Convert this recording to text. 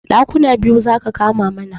Ɗakuna biyu zaka kama mana